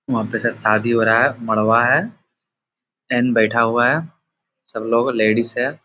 वहाँ पे सब शादी हो रहा है मड़वा है एंड बैठा हुआ है सबलोग लेडिस है।